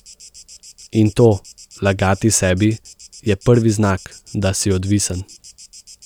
In to, lagati sebi, je prvi znak, da si odvisen.